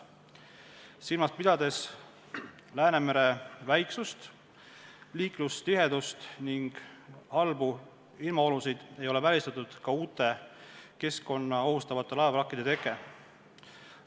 Silmas pidades Läänemere väiksust, liiklustihedust ning sagedasi halbu ilmaolusid ei ole välistatud uute keskkonda ohustavate laevavrakkide teke.